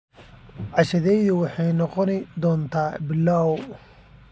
Cashadeydu waxay noqon doontaa pilau.